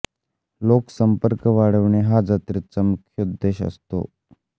लोक संपर्क वाढविणे हा जत्रेचा मुख्य उद्देश असतो